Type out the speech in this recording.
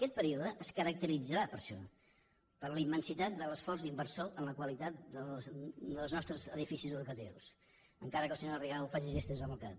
aquest període es caracteritzarà per això per la immensitat de l’esforç inversor en la qualitat dels nostres edificis educatius encara que la senyora rigau faci gestos amb el cap